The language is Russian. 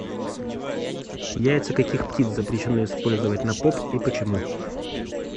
яйца каких птиц запрещено использовать на поп и почему